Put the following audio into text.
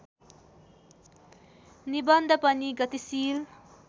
निबन्ध पनि गतिशील